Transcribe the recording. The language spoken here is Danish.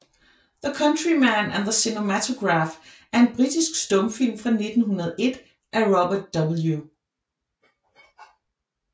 The Countryman and the Cinematograph er en britisk stumfilm fra 1901 af Robert W